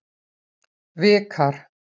Vikar